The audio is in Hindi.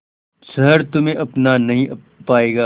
शहर तुम्हे अपना नहीं पाएगा